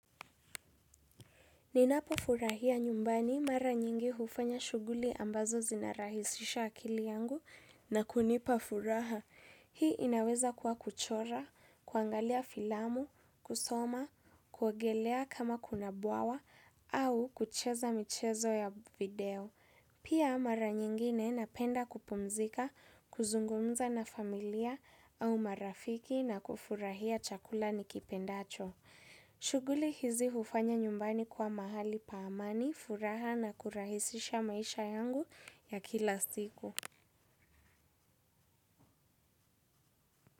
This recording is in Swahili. Ninapofurahia nyumbani mara nyingi hufanya shughuli ambazo zinarahisisha akili yangu na kunipa furaha. Hii inaweza kuwa kuchora, kuangalia filamu, kusoma, kuogelea kama kuna bwawa au kucheza michezo ya video. Pia mara nyingine napenda kupumzika, kuzungumza na familia au marafiki na kufurahia chakula nikipendacho. Shughuli hizi hufanya nyumbani kuwa mahali pa amani, furaha na kurahisisha maisha yangu ya kila siku.